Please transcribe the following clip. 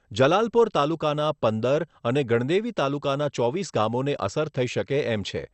જલાલપોર તાલુકાના પંદર અને ગણદેવી તાલુકાના ચોવીસ ગામોને અસર થઈ શકે એમ છે.